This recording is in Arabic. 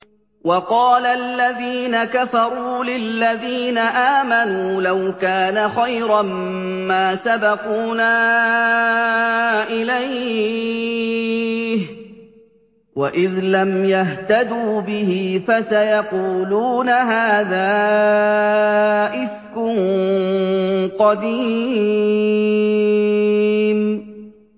وَقَالَ الَّذِينَ كَفَرُوا لِلَّذِينَ آمَنُوا لَوْ كَانَ خَيْرًا مَّا سَبَقُونَا إِلَيْهِ ۚ وَإِذْ لَمْ يَهْتَدُوا بِهِ فَسَيَقُولُونَ هَٰذَا إِفْكٌ قَدِيمٌ